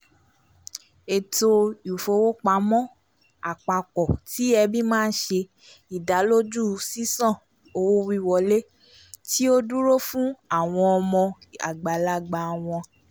eto ifowopamọ apapọ ti ẹbi ma nṣẹ́ ìdánilójú ṣiṣàn owo-wiwọle ti o duro fun awọn ọmọ agbalagba wọn